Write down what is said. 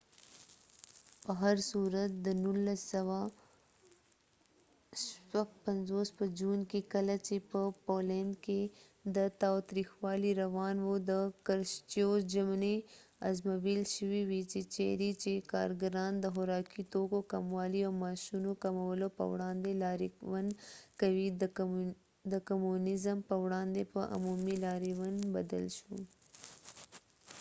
په هرصورت، د ۱۹۵۶ په جون کې، کله چې په پولینډ کې تاوتریخوالی روان و، د کرشچیو ژمنې ازمویل شوې وې چیرې چې کارګران د خوراکي توکو کموالي او معاشونو کمولو په وړاندې لاریون کوي، د کمونیزم په وړاندې په عمومي لاریون بدل شو